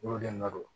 Olu de na don